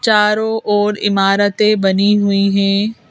चारों ओर इमारतें बनी हुई हैं।